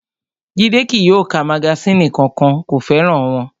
Jídé kí yóò ka magasínì kankan, kò fẹ́ràn wọn